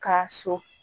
Ka so